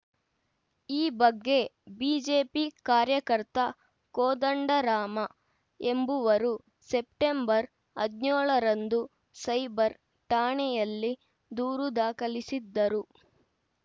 ಈ ಬಗ್ಗೆ ಬಿಜೆಪಿ ಕಾರ್ಯಕರ್ತ ಕೋದಂಡರಾಮ ಎಂಬುವರು ಸೆಪ್ಟೆಂಬರ್ ಹದಿನ್ಯೋಳರಂದು ಸೈಬರ್‌ ಠಾಣೆಯಲ್ಲಿ ದೂರು ದಾಖಲಿಸಿದ್ದರು